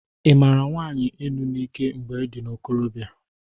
I mara nwanyị enu n'ike mgbe ị dị n'ikorobịa?